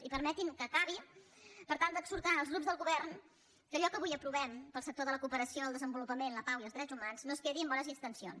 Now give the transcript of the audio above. i permetin me que acabi exhortant els grups del govern perquè allò que avui aprovem per al sector de la cooperació el desenvolupament la pau i els drets humans no es quedi en bones intencions